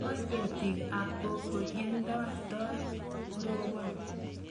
Kol ketik ab koko ye nda toi korobon